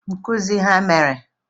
Nkuzi a ha mere?